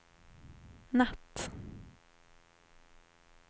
natt